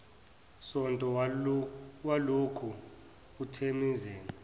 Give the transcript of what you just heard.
sonto walokhu uthemeleza